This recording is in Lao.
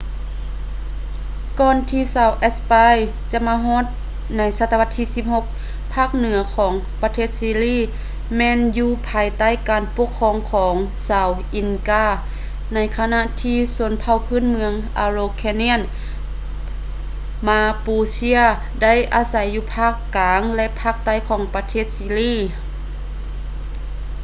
ກ່ອນທີ່ຊາວແອັດສະປາຍຈະມາຮອດໃນສະຕະວັດທີ 16 ພາກເໜືອ ຂອງປະເທດຊີລີ ແມ່ນຢູ່ພາຍໃຕ້ການປົກຄອງຂອງຊາວ ອິນກາ inca ໃນຂະນະທີ່ຊົນເຜົ່າພື້ນເມືອງ ອາໂຣແຄນຽນ araucanians ມາປູເຊ mapuche ໄດ້ອາໄສຢູ່ພາກກາງ ແລະ ພາກໃຕ້ຂອງປະເທດຊີລີ